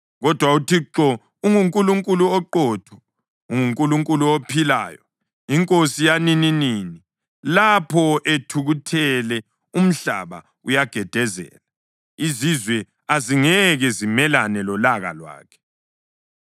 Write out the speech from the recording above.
Kodwa uThixo unguNkulunkulu oqotho, unguNkulunkulu ophilayo, iNkosi yanininini. Lapho ethukuthele, umhlaba uyagedezela, izizwe azingeke zimelane lolaka lwakhe.